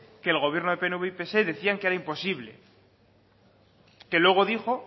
que el gobierno del pnv y pse decían que era imposible que luego dijo